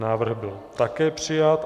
Návrh byl také přijat.